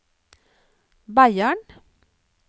Beiarn